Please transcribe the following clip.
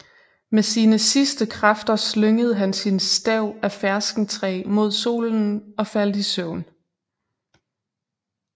Med sine sidste kræfter slyngede han sin stav af ferskentræ mod solen og faldt i søvn